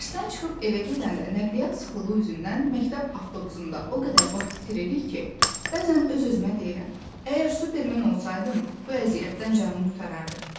Dərsdən çıxıb evə gedəndə nəqliyyat sıxlığı üzündən məktəb avtobusunda o qədər vaxt itiririk ki, bəzən öz-özümə deyirəm: əgər Superman olsaydım, bu əziyyətdən canım qurtarardı.